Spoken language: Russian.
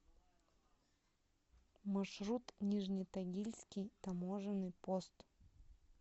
маршрут нижнетагильский таможенный пост